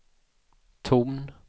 ton